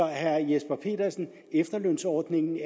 herre jesper petersen at efterlønsordningen